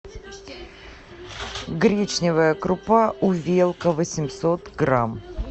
гречневая крупа увелка восемьсот грамм